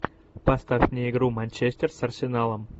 поставь мне игру манчестер с арсеналом